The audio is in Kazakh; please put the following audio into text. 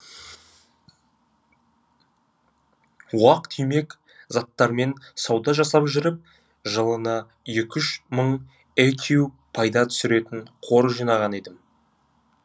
уақ түймек заттармен сауда жасап жүріп жылына екі үш мың экю пайда түсіретін қор жинаған едім